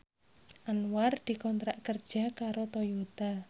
Anwar dikontrak kerja karo Toyota